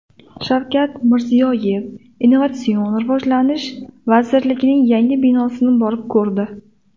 Shavkat Mirziyoyev Innovatsion rivojlanish vazirligining yangi binosini borib ko‘rdi .